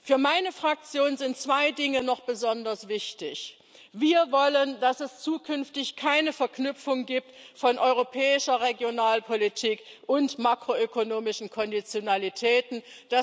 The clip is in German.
Für meine Fraktion sind zwei Dinge noch besonders wichtig Wir wollen, dass es zukünftig keine Verknüpfung von europäischer Regionalpolitik und makroökonomischen Konditionalitäten gibt.